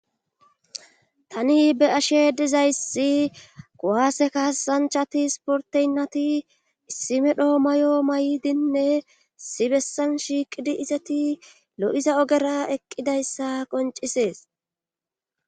tani be7ashe dizayssi kuwase kasanchati sporteynati issi medhoo may7o may7dinne issi bessan shiiqidi izati lo7iza ogera eqqidayssa qoncisees